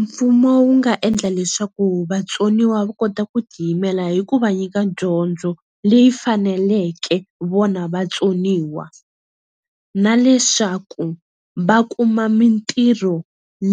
Mfumo wu nga endla leswaku vatsoniwa va kota ku ti yimelela hi ku va nyika dyondzo leyi faneleke vona vatsoniwa na leswaku va kuma mintirho